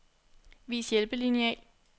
Vis hjælpelineal.